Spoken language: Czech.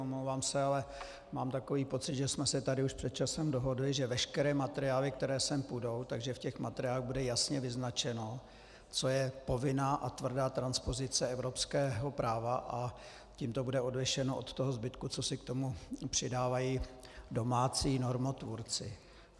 Omlouvám se, ale mám takový pocit, že jsme se tady už před časem dohodli, že veškeré materiály, které sem půjdou, že v těch materiálech bude jasně vyznačeno, co je povinná a tvrdá transpozice evropského práva, a tím to bude odlišeno od toho zbytku, co si k tomu přidávají domácí normotvůrci.